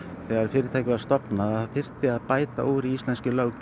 þegar fyrirtækið var stofnað að það þyrfti að bæta úr íslenskri löggjöf